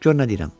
Gör nə deyirəm.